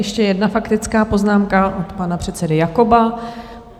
Ještě jedna faktická poznámka od pana předsedy Jakoba.